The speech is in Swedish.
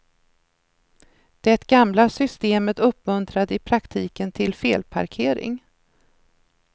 Det gamla systemet uppmuntrade i praktiken till felparkering.